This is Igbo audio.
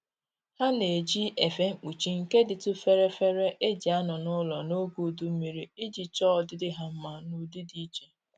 Ha na-eji efe mkpuchi nke dịtụ fere fere e ji anọ n'ụlọ n'oge udu mmiri iji chọọ ọdịdị ha mma n'ụdị dị iche